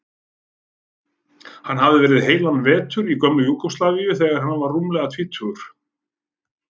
Hann hafði verið heilan vetur í gömlu Júgóslavíu þegar hann var rúmlega tvítugur.